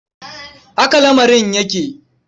Haka lamarin yake.